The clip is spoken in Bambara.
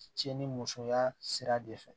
Cɛ ni musoya sira de fɛ